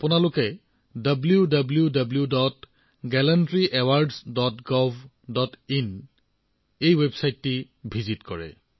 আপোনালোকক আজি wwwgallantryawardsgovin টো পৰিদৰ্শন কৰিবলৈ আহ্বান জনাইছো